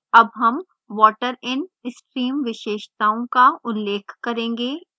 अब हम water in stream विशेषताओं का उल्लेख करेंगे